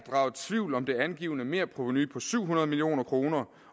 tvivl om det angivne merprovenu på syv hundrede million kroner